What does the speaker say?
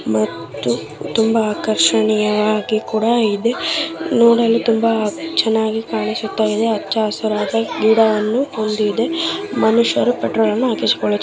ಮತ್ತು ತುಂಬಾ ಆಕರ್ಷಣೀಯ ಆಗಿ ಕೂಡಾ ಇದೆ. ನೋಡಲು ತುಂಬಾ ಚನ್ನಾಗಿ ಕಾಣಿಸುತ್ತಾಯಿದೆ. ಅಚ್ಚ ಹಸಿರಾದ ಗಿಡ ಅನ್ನು ಹೊಂದಿದೆ. ಮನುಷ್ಯರು ಪೆಟ್ರೋಲ್ ಅನ್ನು ಹಾಕಿಸ್ಕೊ --